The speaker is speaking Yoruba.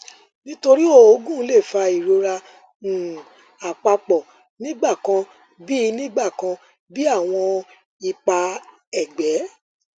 nitori oogun le fa irora um apapo nigbakan bi nigbakan bi awọn ipa ẹgbẹ